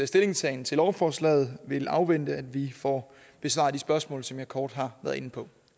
stillingtagen til lovforslaget vil afvente at vi får besvaret de spørgsmål som jeg kort har været inde på